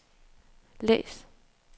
læs